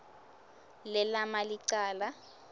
le lama licala